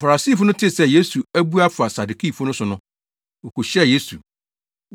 Farisifo no tee sɛ Yesu abu afa Sadukifo no so no, wokohyiaa Yesu.